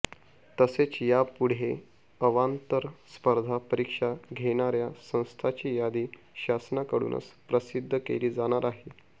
तसेच यापुढे अवांतर स्पर्धा परीक्षा घेणार्या संस्थाची यादी शासनाकडूनच प्रसिध्द केली जाणार आहे